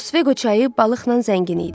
Osveqo çayı balıqla zəngin idi.